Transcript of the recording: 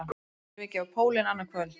Þeir munu yfirgefa pólinn annað kvöld